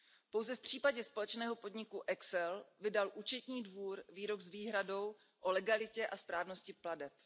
Pouze v případě společného podniku ECSEL vydal Účetní dvůr výrok s výhradou o legalitě a správnosti plateb.